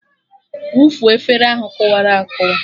Wụfuo efere ahụ kụwara akụwa!